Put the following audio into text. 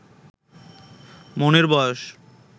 মনের বয়স